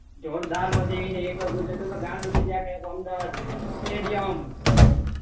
જોરદાર મજા આયી જાય એક વાર કોઈ જશે તો આખું અમદાવાદ સ્ટેડીયમ